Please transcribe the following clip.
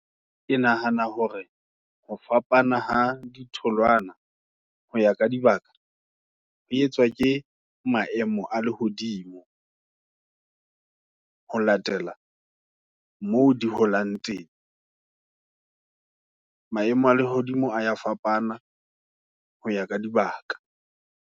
Ke nahana hore, ho fapana ha ditholwana, hoya ka dibaka, ho etswa ke maemo a lehodimo, ho latela moo, di holang teng. Maemo a lehodimo, a ya fapana, hoya ka dibaka.